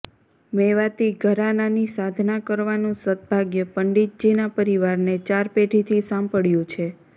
મેવાતી ઘરાનાની સાધના કરવાનું સદભાગ્ય પંડિતજીનાં પરિવારને ચાર પેઢીથી સાંપડ્યું છે